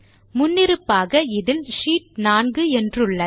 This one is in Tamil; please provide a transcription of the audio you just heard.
முன்னிருப்பாக இதில் ஷீட் 4 என்றுள்ளது